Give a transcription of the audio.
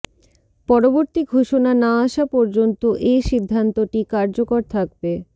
পরবর্তী ঘোষণা না আসা পর্যন্ত এ সিদ্ধান্তটি কার্যকর থাকবে